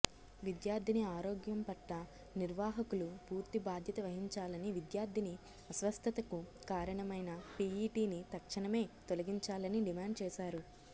విద్యార్థిని ఆరోగ్యం పట్ల నిర్వాహకులు పూర్తి బాధ్యత వహించాలని విద్యార్థిని అస్వస్థతకు కారణమైన పీఈటీని తక్షణమే తొలగించాలని డిమాండ్ చేశారు